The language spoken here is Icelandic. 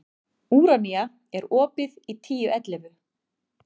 Úranía, er opið í Tíu ellefu?